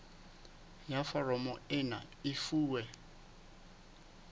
ya foromo ena e fuwe